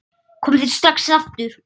Komið þið strax aftur!